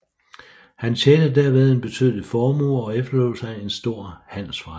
Han tjente derved en betydelig formue og efterlod sig en stor handelsforretning